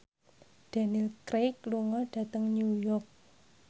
Daniel Craig lunga dhateng New York